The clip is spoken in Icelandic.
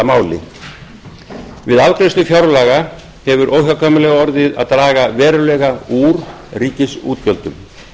máli við afgreiðslu fjárlaga hefur óhjákvæmilega orðið að draga verulega úr ríkisútgjöldum